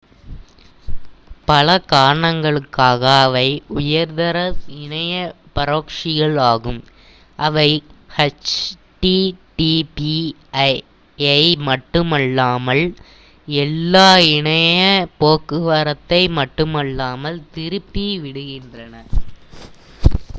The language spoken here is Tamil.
பல காரணங்களுக்காக அவை உயர்தர இணைய பரொக்ஸிகள் ஆகும் அவை ஹெச் டி டி பி யை மட்டுமல்லாமல் எல்லா இணைய போக்குவரத்தை மட்டுமல்லாமல் திருப்பி விடுகின்றன